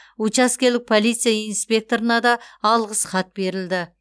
учаскелік полиция инспекторына да алғыс хат берілді